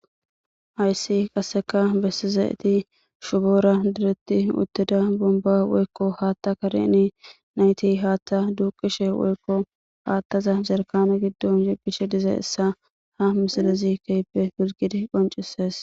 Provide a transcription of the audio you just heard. Hayssi qassekka bessizayiti shufora direti utida bombba woykko haaththa kareni nayitti haaththa duuqishe woykko haaththaza jarkkane giddon yeggishe dizayssa ha misilezi keehippe hizggidi qonccisees.